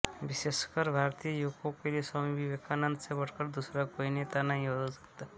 विशेषकर भारतीय युवकों के लिए स्वामी विवेकानन्द से बढ़कर दूसरा कोई नेता नहीं हो सकता